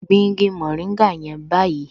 Gbin igi mòríngà yẹn báyìí